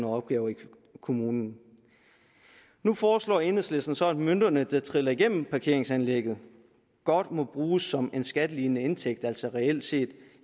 opgaver i kommunen nu foreslår enhedslisten så at mønterne der triller gennem parkeringsanlæggene godt må bruges som en skattelignende indtægt altså reelt set